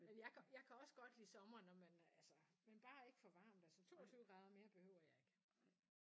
Men jeg kan jeg kan også godt lide sommer når man altså men bare ikke for varmt altså 22 grader mere behøver jeg ikke